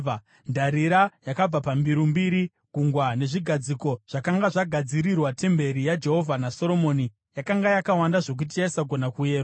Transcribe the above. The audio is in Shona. Ndarira yakabva pambiru mbiri, Gungwa nezvigadziko zvakanga zvagadzirirwa temberi yaJehovha naSoromoni, yakanga yakawanda zvokuti yaisagona kuyerwa.